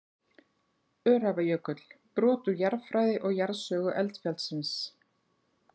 Öræfajökull, brot úr jarðfræði og jarðsögu eldfjallsins.